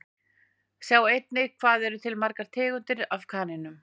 Sjá einnig Hvað eru til margar tegundir af kanínum?